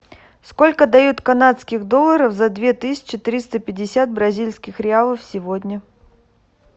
сколько дают канадских долларов за две тысячи триста пятьдесят бразильских реалов сегодня